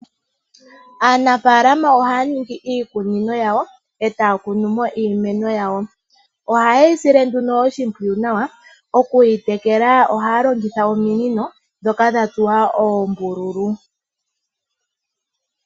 Aanafaalama oahaya ningi iikunino yawo, e taya kunu mo iimwno yawo. Ohaye yi sile nduno oshimpwiyu nawa, oku yi tekela ohaya longitha ominino ndhoka dha tsuwa oombululu.